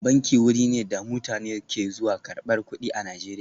Banki wuri ne da mutane ke zuwa karbar kudi a Najeriya